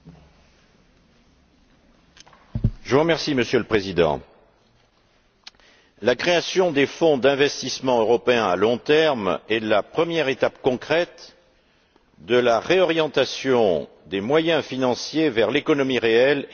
Monsieur le Président, la création des Fonds européens d'investissement à long terme est la première étape concrète de la réorientation des moyens financiers vers l'économie réelle et, notamment, vers l'investissement à long terme.